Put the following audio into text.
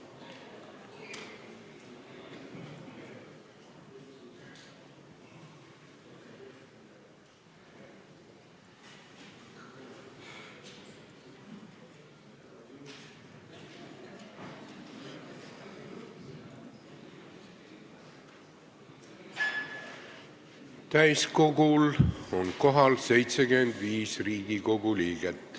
Kohaloleku kontroll Täiskogul on kohal 75 Riigikogu liiget.